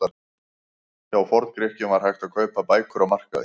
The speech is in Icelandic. Hjá Forngrikkjum var hægt að kaupa bækur á markaði.